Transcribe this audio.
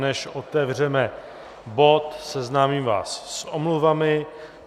Než otevřeme bod, seznámím vás s omluvami.